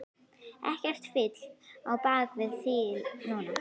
Ekkert fitl á bak við þil núna.